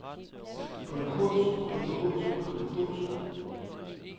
konkurs konkurs konkurs